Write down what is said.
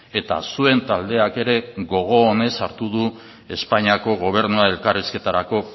eta zuen taldeak ere gogo onez hartu du espainiako gobernua elkarrizketarako